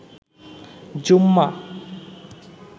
জুম্মা